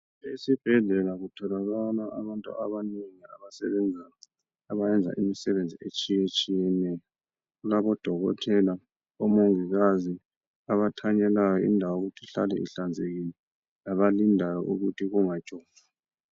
Esibhedlela kutholakala abantu abanengi, abasebenza khona. Abayenza imisebenzi etshiyetshiyeneyo. Kulabodokotela, omongikazi. Labathanyelayo, ukuthi indawo ihlale ihlanzekile. Labalindayo, ukuthi kungatshotshwa.